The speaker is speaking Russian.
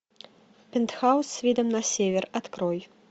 пентхаус с видом на север открой